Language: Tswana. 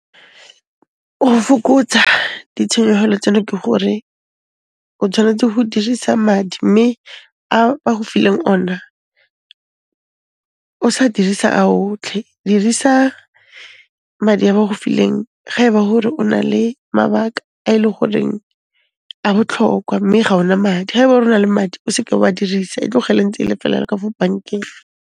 Ho fokotsa ditshenyehelo tseno ke gore o tshwanetse ho dirisa madi mme a ba go fileng ona, o s'a dirisa a otlhe. Dirisa madi a ba go fileng ga eba hore o na le mabaka a e le goreng a botlhokwa mme ga o na madi. Ha eba ele hore o na le madi, o seke wa dirisa, e tlogele ntse e le fela yalo ka fo bankeng.